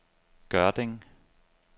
Gørding